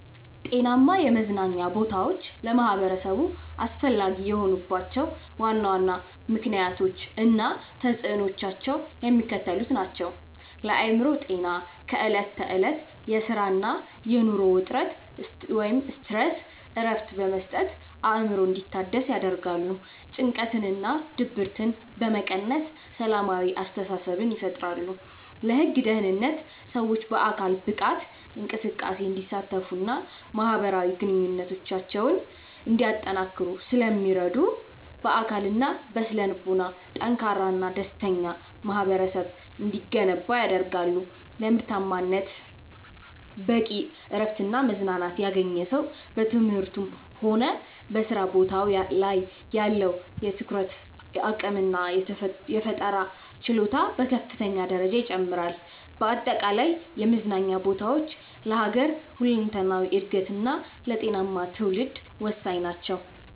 ጤናማ የመዝናኛ ቦታዎች ለማኅበረሰቡ አስፈላጊ የሆኑባቸው ዋና ዋና ምክንያቶች እና ተፅዕኖዎቻቸው የሚከተሉት ናቸው፦ ለአእምሮ ጤና፦ ከዕለት ተዕለት የሥራና የኑሮ ውጥረት (Stress) እረፍት በመስጠት አእምሮ እንዲታደስ ያደርጋሉ። ጭንቀትንና ድብርትን በመቀነስ ሰላማዊ አስተሳሰብን ይፈጥራሉ። ለግል ደህንነት፦ ሰዎች በአካል ብቃት እንቅስቃሴ እንዲሳተፉና ማኅበራዊ ግንኙነታቸውን እንዲያጠናክሩ ስለሚረዱ፣ በአካልና በስነ-ልቦና ጠንካራና ደስተኛ ማኅበረሰብ እንዲገነባ ያደርጋሉ። ለምርታማነት፦ በቂ እረፍትና መዝናናት ያገኘ ሰው በትምህርቱም ሆነ በሥራ ቦታው ላይ ያለው የትኩረት አቅምና የፈጠራ ችሎታ በከፍተኛ ደረጃ ይጨምራል። በአጠቃላይ የመዝናኛ ቦታዎች ለሀገር ሁለንተናዊ እድገትና ለጤናማ ትውልድ ወሳኝ ናቸው።